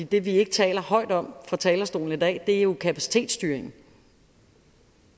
det vi ikke taler højt om fra talerstolen i dag er jo kapacitetsstyringen